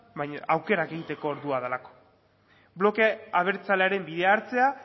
baina aukerak egiteko ordua delako bloke abertzalearen bidea hartze